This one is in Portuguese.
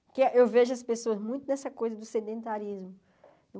Porque eu vejo as pessoas muito nessa coisa do sedentarismo.